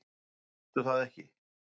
Sástu það ekki?